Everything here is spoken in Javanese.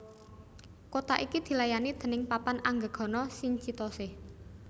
Kota iki dilayani déning Papan Anggegana Shinchitose